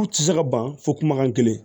U tɛ se ka ban fo kumakan kelen